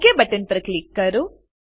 okay button પર click કરો